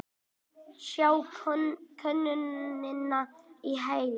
Sjá könnunina í heild